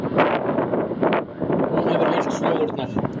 Hún hefur heyrt sögurnar.